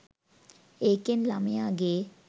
ඒකෙන් ළමයාගේ